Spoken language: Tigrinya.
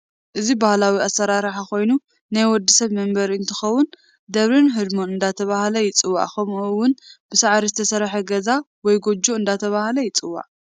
እዚ ባህላዊ አሰራረሓ ኮይኑ ናይ ወድሰብ መንበሪ እንትከውን ደብርን ህድሞን እዳተባሃለ ይፂዋዒ ከምኡ እውን ብሳዓሪ ዝተሰርሐ ጋዛ ወይ ጎጆ እደተባህለ ይፅዋዕ።